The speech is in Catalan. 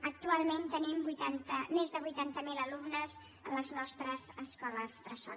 actualment tenim més de vuitanta miler alumnes a les nostres escoles bressol